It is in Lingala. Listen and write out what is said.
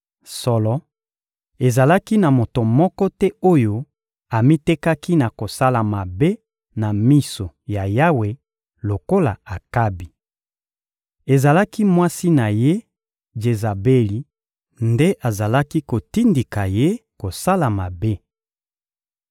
Solo, ezalaki na moto moko te oyo amitekaki na kosala mabe na miso ya Yawe lokola Akabi. Ezalaki mwasi na ye Jezabeli nde azalaki kotindika ye kosala mabe.